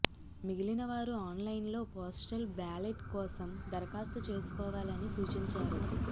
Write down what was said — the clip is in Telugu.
మిగిలిన వారు ఆన్లైన్లో పోస్టల్ బ్యాలెట్ కోసం దరఖాస్తు చేసుకోవాలని సూచించారు